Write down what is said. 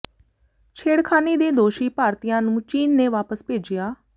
ਛੇੜਖ਼ਾਨੀ ਦੇ ਦੋਸ਼ੀ ਭਾਰਤੀਆਂ ਨੂੰ ਚੀਨ ਨੇ ਵਾਪਸ ਭੇਜਿਆ